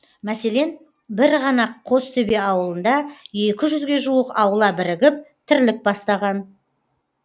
мәселен бір ғана қостөбе ауылында екі жүзге жуық аула бірігіп тірлік бастаған